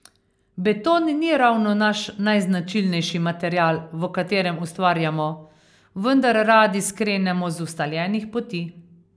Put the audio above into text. Beton ni ravno naš najznačilnejši material, v katerem ustvarjamo, vendar radi skrenemo z ustaljenih poti.